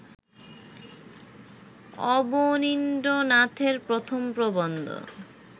অবনীন্দ্রনাথের প্রথম প্রবন্ধ